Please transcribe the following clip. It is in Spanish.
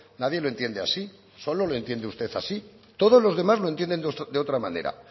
nadie lo entiende así solo lo entiende usted así todos los demás lo entienden de otra manera